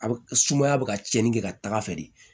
A bɛ sumaya bɛ ka cɛnni kɛ ka taga fɛ de